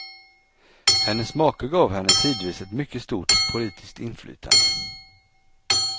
Hennes make gav henne tidvis ett mycket stort politiskt inflytande.